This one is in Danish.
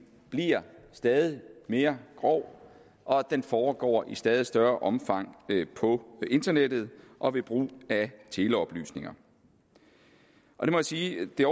bliver stadig mere grov og den foregår i stadig større omfang på internettet og ved brug af teleoplysninger jeg må sige at det